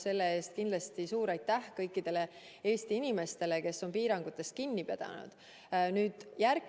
Selle eest kindlasti suur aitäh kõikidele Eesti inimestele, kes on piirangutest kinni pidanud!